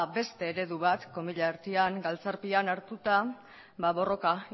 beste eredu bat galtzarpean hartuta borroka